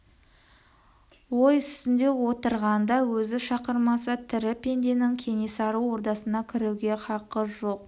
ой үстінде отырғанда өзі шақырмаса тірі пенденің кенесары ордасына кіруге хақы жоқ